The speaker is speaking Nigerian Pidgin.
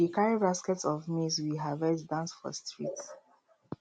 we dey carry baskets of maize we harvest dance for streets